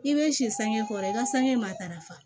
I bɛ si sange kɔrɔ i ka sange matarafa